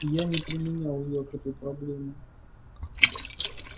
я не применял её к этой проблеме